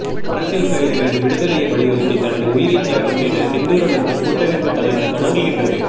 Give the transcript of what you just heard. அரசியல் கைதிகளின் விடுதலையை வலியுறுத்தி தனது உயிரை தியாகம் செய்த செந்தூரனுக்கு கூட்டமைப்பு தலை வணங்குகின்றது